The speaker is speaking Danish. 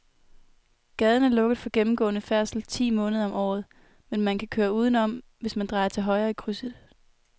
Gaden er lukket for gennemgående færdsel ti måneder om året, men man kan køre udenom, hvis man drejer til højre i krydset.